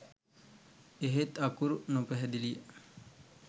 එහෙත් අකුරු නොපැහැදිලිය